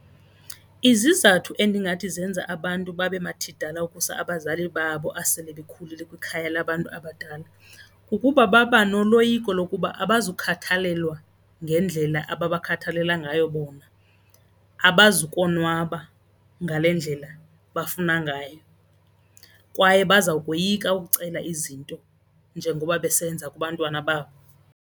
Izizathu endingathi zenza abantu babe mathidala ukusa abazali babo asele bekhulile kwikhaya labantu abadala kukuba baba noloyiko lokuba abazukhathalelwa ngendlela ababakhathalela ngayo bona, abazukonwaba ngale ndlela bafuna ngayo kwaye bazawukoyika ukucela izinto njengoba besenza kubantwana .